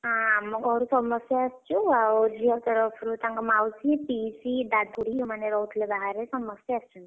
ଆଁ ଆମ ଘରୁ ସମସ୍ତେ ଆସିଚୁ, ଆଉ ଝିଅ ତରଫରୁ ତାଙ୍କ ମାଉଷୀ, ପିଇସୀ, ଦାଦା, ଖୁଡୀ ସେମାନେ ରହୁଥିଲେ ବାହାରେ ସମସ୍ତେ ଆସିଛନ୍ତି।